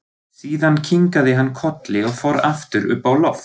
Síðan kinkaði hann kolli og fór aftur upp á loft.